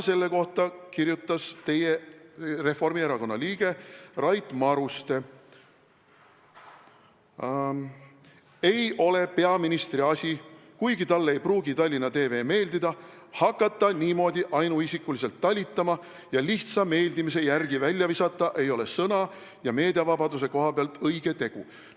Selle kohta kirjutas teie erakonna, Reformierakonna liige Rait Maruste: "Ei ole peaministri asi, kuigi talle ei pruugi TTV meeldida, hakata niimoodi ainuisikuliselt talitama ja lihtsa meeldimise järgi välja visata ei ole sõna- ja meediavabaduse koha pealt õige tegu.